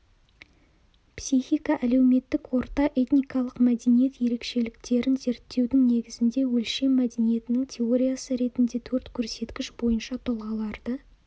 психика әлеуметтік орта этникалық мәдениет ерекшеліктерін зерттеудің негізінде өлшем мәдениетінің теориясы ретінде төрт көрсеткіш бойынша тұлғаларды